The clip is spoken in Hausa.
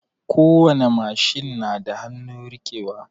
Kowani machine na da hanun rike wa